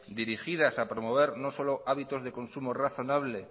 dirigidas a promover no solo hábitos de consumo razonables